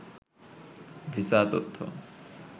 visa তথ্য